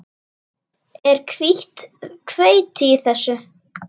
Er hvítt hveiti í þessu?